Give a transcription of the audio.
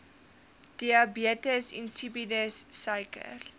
diabetes insipidus suiker